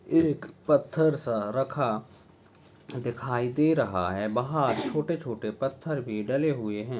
एक पत्थर सा रखा दिखाई दे रहा है वहाँ छोटे छोटे पत्थर भी डलें हुए है।